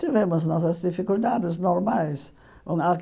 Tivemos nossas dificuldades normais. Nã ah